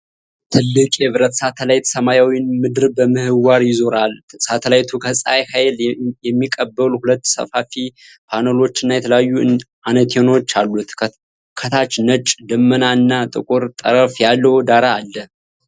ትልቅ የብረት ሳተላይት ሰማያዊውን ምድር በምህዋር ይዞራል። ሳተላይቱ ከፀሐይ ኃይል የሚቀበሉ ሁለት ሰፋፊ ፓነሎችና የተለያዩ አንቴናዎች አሉት። ከታች ነጭ ደመና እና ጥቁር ጠፈር ያለው ዳራ አለ።